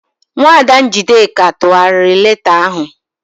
Nwaada Njideka tụgharịrị leeta ahụ.